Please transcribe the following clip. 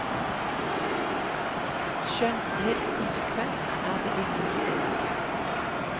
Skjønt helt konsekvent er det umulig å være.